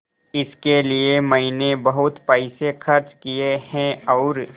इसके लिए मैंने बहुत पैसे खर्च किए हैं और